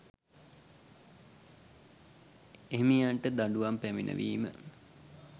එහිමියන්ට දඬුවම් පැමිණවීම